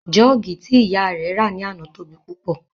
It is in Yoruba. Jọ́ọ̀gì tí ìyá rẹ̀ rà ní àná tóbi púpọ̀